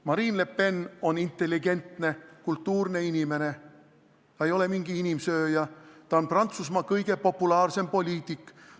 Marine Le Pen on intelligentne, kultuurne inimene, ta ei ole mingi inimsööja, ta on Prantsusmaa kõige populaarsem poliitik.